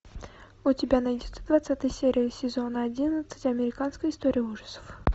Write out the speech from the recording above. у тебя найдется двадцатая серия сезона одиннадцать американская история ужасов